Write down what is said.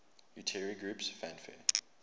utari groups fanfare